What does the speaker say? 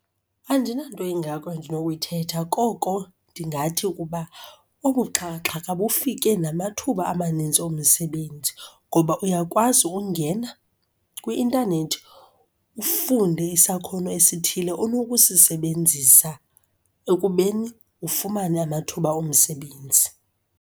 Andinanto ingako endinokuyithetha, koko ndingathi ukuba obu buxhakaxhaka kufike namathuba amaninzi omsebenzi. Ngoba uyakwazi ungena kwi-intanethi ufunde isakhono esithile onokusisebenzisa ekubeni ufumane amathuba omsebenzi.